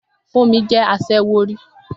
Fúnmi jẹ́ aṣẹ́wó rí